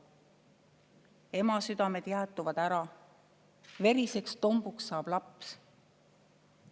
/ Emasüdamed jäätuvad ära, / veriseks tombuks saab laps.